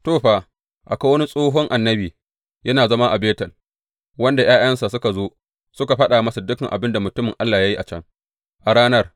To, fa, akwai wani tsohon annabi yana zama a Betel, wanda ’ya’yansa suka zo suka faɗa masa dukan abin da mutumin Allah ya yi a can, a ranar.